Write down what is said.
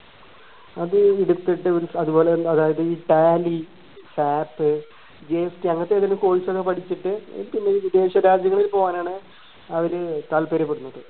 അത് എടുത്തിട്ട് ഒരു അതുപോലെതന്നെ അതായത് tally sapGST അങ്ങനത്തെ ഏതേലും course ഒക്കെ പഠിച്ചിട്ട് വിദേശരാജ്യങ്ങളിൽ പോവാനാണ് അവര് താൽപര്യപ്പെടുന്നത്